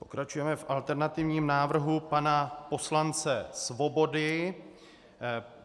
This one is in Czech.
Pokračujeme v alternativním návrhu pana poslance Svobody.